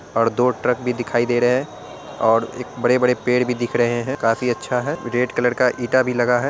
और दो ट्रक भी दिखाई दे रहे है और एक बड़े बड़े पेड़ भी दिख रहे है | काफी अच्छा है रेड कलर का ईटा भी लगा है।